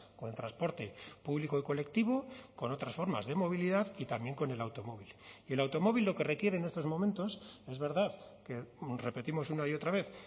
con el transporte público y colectivo con otras formas de movilidad y también con el automóvil y el automóvil lo que requiere en estos momentos es verdad que repetimos una y otra vez